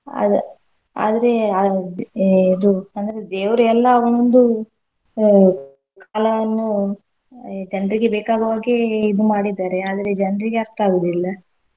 ಅದ್ ಆದ್ರೆ ಅದ್~ ಎ~ ಇದು ಅಂದ್ರೆ ದೇವ್ರ್ ಎಲ್ಲಾ ಒಂದು ಆಹ್ ಕಾಲವನ್ನು ಜನ್ರಿಗೆ ಬೇಕಾಗೋವಾಗೇ ಇದು ಮಾಡಿದ್ದಾರೆ ಆದ್ರೆ ಜನ್ರಿಗೆ ಅರ್ಥ ಆಗುದಿಲ್ಲ.